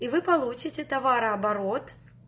и вы получите товарооборот